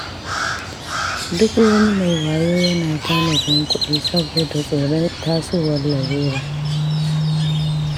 Duk wani mai wayo yana tanadin kuɗi saboda tsoron tasowar larura.